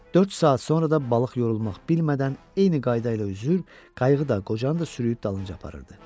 Dörd saat sonra da balıq yorulmaq bilmədən eyni qayda ilə üzür, qayığı da, qocanı da sürüüb dalınca aparırdı.